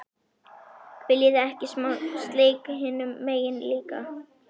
VILJIÐI EKKI SMÁ SLEIK HINUM MEGIN LÍKA!